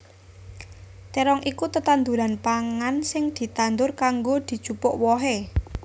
Térong iku tetanduran pangan sing ditandur kanggo dijupuk wohé